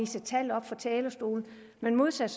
tal op fra talerstolen men modsat